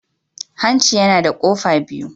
Hanci yana da kofa biyu.